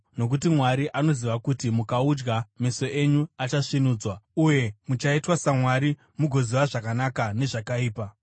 Nokuti Mwari anoziva kuti mukaudya meso enyu achasvinudzwa, uye muchaita saMwari mugoziva zvakanaka nezvakaipa.”